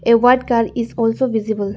a white cal is also visible.